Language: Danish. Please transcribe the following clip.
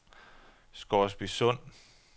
Scoresbysund